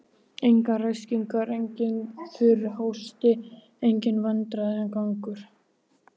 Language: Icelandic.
Engar ræskingar, enginn þurr hósti, enginn vandræðagangur.